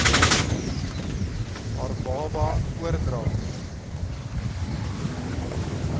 haar baba oordra